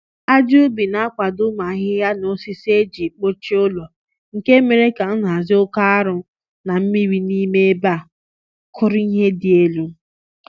ájá ubi na akwado ụmụ ahịhịa na osisi e jì kpuchi ụlọ, nke mere kà nhazi oké arụ́ na mmiri n'ime ébé á kụrụ ihe dị élú